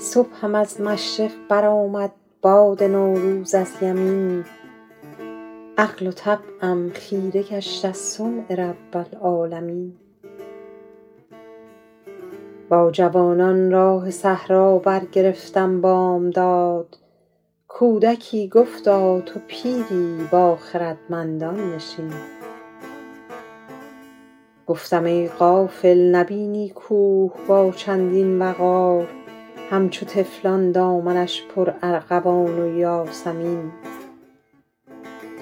صبحم از مشرق برآمد باد نوروز از یمین عقل و طبعم خیره گشت از صنع رب العالمین با جوانان راه صحرا برگرفتم بامداد کودکی گفتا تو پیری با خردمندان نشین گفتم ای غافل نبینی کوه با چندین وقار همچو طفلان دامنش پرارغوان و یاسمین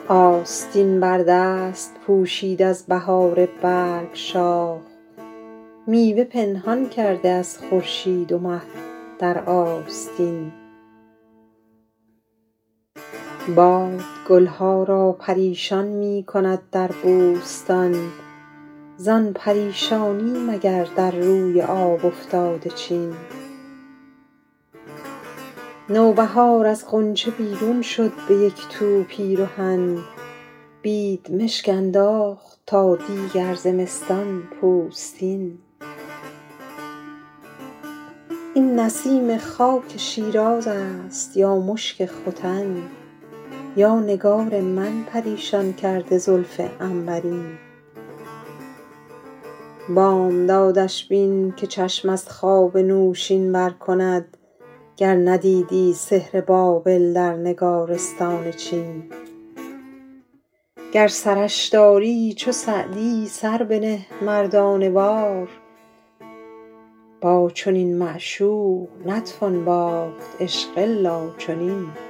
آستین بر دست پوشید از بهار برگ شاخ میوه پنهان کرده از خورشید و مه در آستین باد گل ها را پریشان می کند هر صبحدم زان پریشانی مگر در روی آب افتاده چین نوبهار از غنچه بیرون شد به یک تو پیرهن بیدمشک انداخت تا دیگر زمستان پوستین این نسیم خاک شیراز است یا مشک ختن یا نگار من پریشان کرده زلف عنبرین بامدادش بین که چشم از خواب نوشین بر کند گر ندیدی سحر بابل در نگارستان چین گر سرش داری چو سعدی سر بنه مردانه وار با چنین معشوق نتوان باخت عشق الا چنین